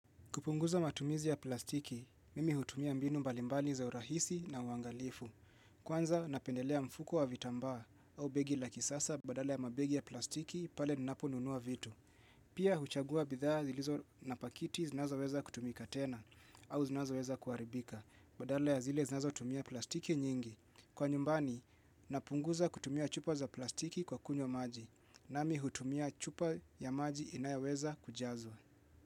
Kupunguza matumizi ya plastiki, mimi hutumia mbinu mbalimbali za urahisi na uangalifu. Kwanza napendelea mfuko wa vitambaa au begi laki sasa badala ya mabegi ya plastiki pale ninapo nunua vitu. Pia huchagua bidhaa zilizo na pakiti zinazo weza kutumika tena au zinazo weza kuaribika badala ya zile zinazo tumia plastiki nyingi. Kwa nyumbani, napunguza kutumia chupa za plastiki kwa kunywa maji na mi hutumia chupa ya maji inayoweza kujazwa.